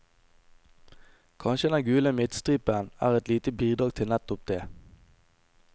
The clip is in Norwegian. Kanskje den gule midtstripen er et lite bidrag til nettopp det.